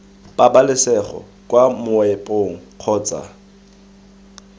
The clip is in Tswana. pabalesego kwa moepong kgotsa iii